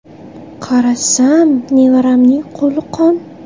Qarasam nevaramning qo‘li qon.